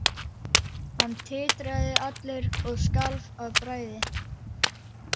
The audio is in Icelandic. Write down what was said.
Hann titraði allur og skalf af bræði.